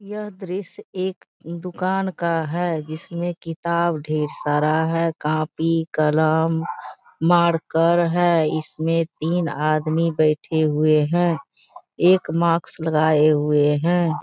यह दृश्य एक दूकान का है। जिसमे किताब ढेर सारा है। कॉपी कलम मार्कर है। इसमें तीन आदमी बैठे हुए है। एक मास्क लगाये हुए है।